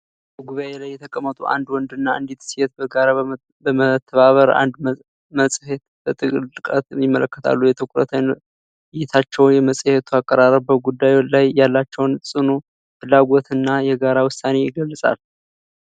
በጉባኤ ላይ የተቀመጡ አንድ ወንድና አንዲት ሴት በጋራ በመተባበር አንድ መጽሔት በጥልቀት ይመለከታሉ። የትኩረት እይታቸውና የመጽሔቱ አቀራረብ በጉዳዩ ላይ ያላቸውን ጽኑ ፍላጎትና የጋራ ውሳኔ የገልጻል።